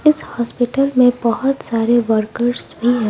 इस हॉस्पिटल में बहुत सारे वर्कर्स भी हैं।